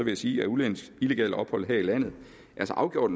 jeg sige at udlændinges illegale ophold her i landet så afgjort